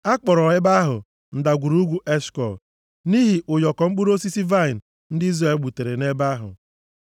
A kpọrọ ebe ahụ Ndagwurugwu Eshkọl, nʼihi ụyọkọ mkpụrụ osisi vaịnị ndị Izrel gbutere nʼebe ahụ.